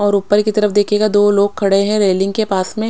और उपर की तरफ देखिएगा दो लोग खडे है रेलिंग के पास में।